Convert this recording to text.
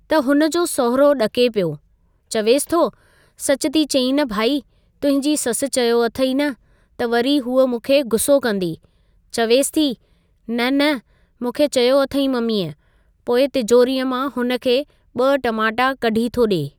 त हुन जो साहुरो ॾके पियो, चवेसि ,थो सच थी चईं न भइ तुंहिंजी ससु चयो अथई न त वरी हूअ मूंखे गु़स्सो कंदी। चवेसि थी न न मूंखे चयो अथई मम्मीअ, पोइ तिजोरीअ मां हुन खे ॿ टमाटा कढी थो ॾे।